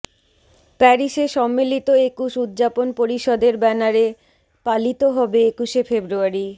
প্যারিসে সম্মিলিত একুশ উদযাপন পরিষদের ব্যানারে পালিত হবে একুশে ফেব্রুয়ারি